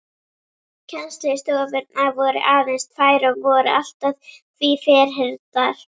Kennslustofurnar voru aðeins tvær og voru allt að því ferhyrndar.